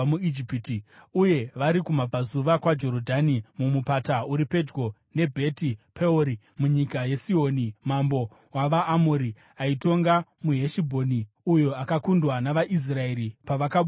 uye vari kumabvazuva kwaJorodhani mumupata uri pedyo neBheti Peori, munyika yaSihoni mambo wavaAmori, aitonga muHeshibhoni uyo akakundwa navaIsraeri pavakabuda muIjipiti.